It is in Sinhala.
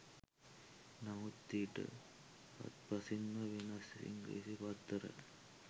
නමුත් ඊට හාත්පසින්ම වෙනස් ඉංග්‍රීසි පත්තර.